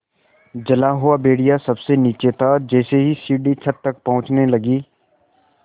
जला हुआ भेड़िया सबसे नीचे था जैसे ही सीढ़ी छत तक पहुँचने लगी